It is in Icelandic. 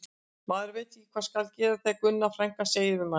Maður veit ekki hvað skal gera þegar Gunna frænka segir við mann